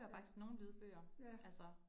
Ja. Ja